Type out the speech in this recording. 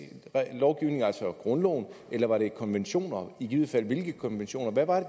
lovgivning altså grundloven eller var det konventioner og i givet fald hvilke konventioner hvad var